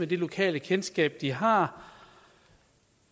det lokalkendskab de har